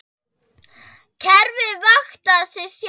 Kerfið vaktar sig sjálft.